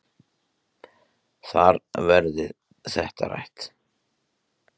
Þar verði þetta rætt.